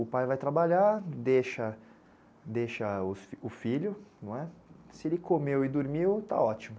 O pai vai trabalhar, deixa, deixa o filho, não é? Se ele comeu e dormiu, tá ótimo.